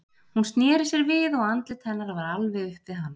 Hún sneri sér við og andlit hennar var alveg upp við hans.